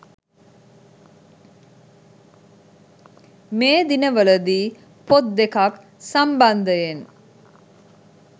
මේ දිනවල දී පොත් දෙකක් සම්බන්ධයෙන්